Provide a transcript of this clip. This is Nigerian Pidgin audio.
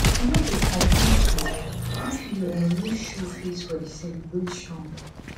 e no go complete um if you um no show face for di celebration